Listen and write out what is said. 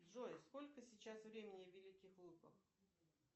джой сколько сейчас времени в великих луках